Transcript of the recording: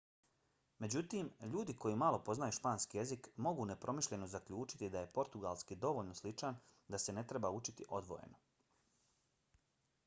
međutim ljudi koji malo poznaju španski jezik mogu nepromišljeno zaključiti da je portugalski dovoljno sličan da se ne treba učiti odvojeno